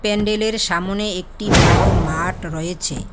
প্যান্ডেলের সামনে একটি বড় মাঠ রয়েছে।